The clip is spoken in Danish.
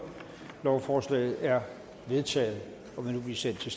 lovforslaget er vedtaget og vil nu blive sendt til